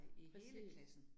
Præcis